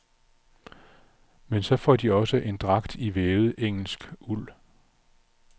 Men så får de også en dragt i vævet engelsk uld.